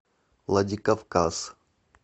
владикавказ